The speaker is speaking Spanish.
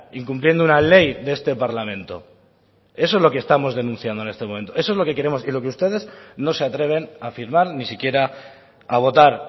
incumpliendo una ley de este parlamento eso es lo que estamos denunciando en este momento eso es lo que queremos y lo que ustedes no se atreven a firmar ni siquiera a votar